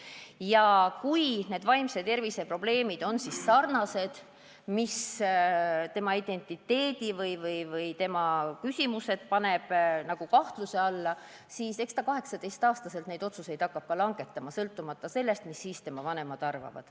Juhul, kui need vaimse tervise probleemid on sellised, mis seavad tema identiteedi kahtluse alla, siis eks ta 18-aastaselt hakkab ka neid otsuseid langetama – sõltumata sellest, mida tema vanemad arvavad.